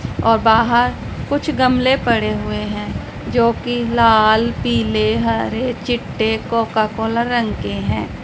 और बाहर कुछ गमले पड़े हुए हैं जो की लाल पीले हरे चिट्टे कोका कोला रंग के हैं।